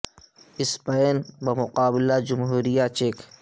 Spain بمقابلہ جمہوریہ check